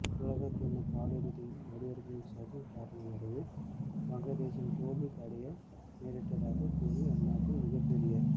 உலகக்கிண்ண காலிறுதியில் நடுவர்களின் சதி காரணமாகவே வங்கதேசம் தோல்வி அடைய நேரிட்டதாக கூறி அந்நாட்டில் மிகப்பெரிய